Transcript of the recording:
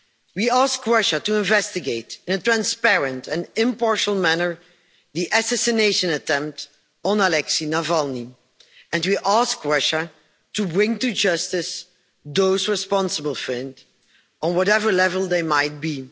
We ask Russia to investigate in a transparent and impartial manner the assassination attempt on Alexei Navalny, and we ask Russia to bring to justice those responsible for it on whatever level they might be.